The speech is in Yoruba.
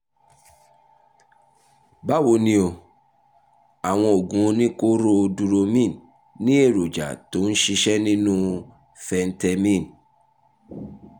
báwo ni o? àwọn oògùn oníkóró duromine ní èròjà tó ń ṣiṣẹ́ nínú phentermine